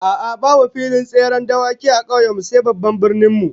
A'a, babu filin tseren dawaki a kauyen mu sai a babban birnin mu